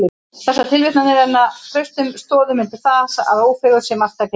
Þessar tilvitnanir renna traustum stoðum undir það, að Ófeigur sé marktæk heimild.